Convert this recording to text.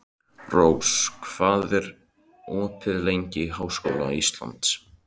Rós, hvað er opið lengi í Háskóla Íslands?